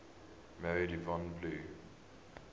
married yvonne blue